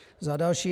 Za další.